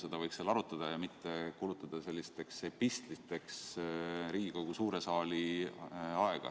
Seda võiks seal arutada ja mitte kulutada sellisteks epistliteks Riigikogu suure saali aega.